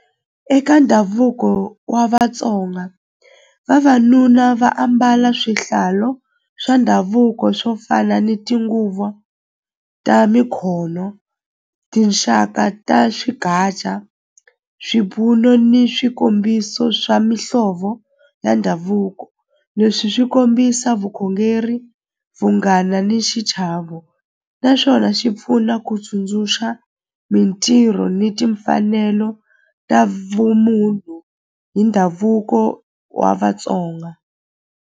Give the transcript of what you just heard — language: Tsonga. Eka ndhavuko wa Vatsonga vavanuna va ambala swihlalo swa ndhavuko swo fana ni tinguva ta mikhono tinxaka ta swipfuno ni swikombiso swa mihlovo ya ndhavuko leswi swi kombisa vukhongeri vunghana ni xichavo naswona xi pfuna ku tsundzuxa mintirho ni timfanelo ta vumunhu hi ndhavuko wa Vatsonga.